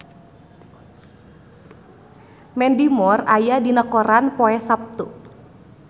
Mandy Moore aya dina koran poe Saptu